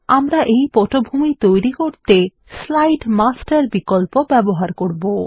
আমরা এই পটভূমি তৈরি করতে স্লাইড মাস্টার বিকল্প ব্যবহার করবো